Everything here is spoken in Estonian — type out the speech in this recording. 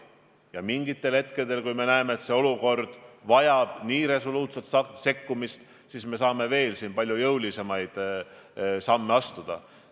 Ja mingitel hetkedel, kui me näeme, et olukord vajab nii resoluutset sekkumist, siis me saame palju jõulisemaid samme astuda.